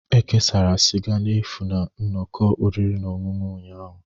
E kesara sịga n'efu na nnọkọ oriri na ọṅụṅụ ụnyahụ